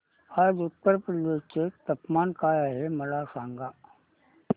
आज उत्तर प्रदेश चे तापमान काय आहे मला सांगा